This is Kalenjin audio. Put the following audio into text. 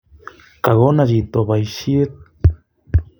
Kakono chito boisiet